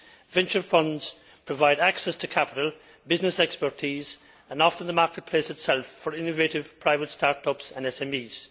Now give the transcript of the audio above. Venture funds provide access to capital, business expertise and often the market place itself for innovative private start ups and SMEs.